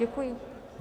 Děkuji.